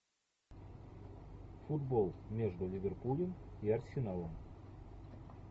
футбол между ливерпулем и арсеналом